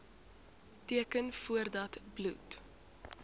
teken voordat bloed